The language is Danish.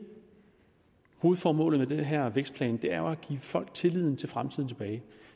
hovedformålet med den her vækstplan er jo at give folk tilliden til fremtiden tilbage